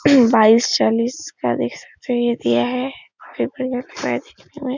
बाईस चालीस का देख सकते हैं ये दिया है --